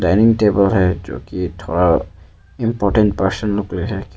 Dining table है जोकि थोड़ा इंपॉर्टेंट पर्सन लोग के लिए है।